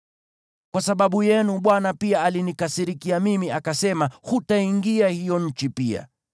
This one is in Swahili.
Kwa sababu yenu Bwana pia alinikasirikia mimi, akasema, “Hutaingia hiyo nchi pia.